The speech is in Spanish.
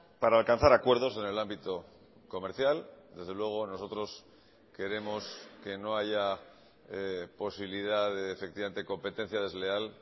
para alcanzar acuerdos en el ámbito comercial desde luego nosotros queremos que no haya posibilidad de efectivamente competencia desleal